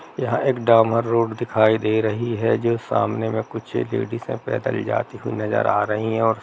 यहाँ एक डामर रोड दिखाई दे रही है जो सामने में कुछ एक लेडीजस हैं पैदल जाते हुए नज़र आ रही हैं। और--